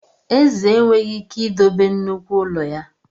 Eze enweghị ike idobe nnukwu ụlọ ya.